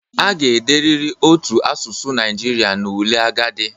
A ga-ederịrị otu asụsụ Naijiria n'ule agadi